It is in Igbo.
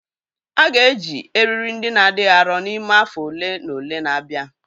A ga-eji eriri ndị na adịghị arọ n'ime afọ ole na ole na-abịa